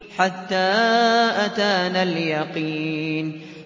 حَتَّىٰ أَتَانَا الْيَقِينُ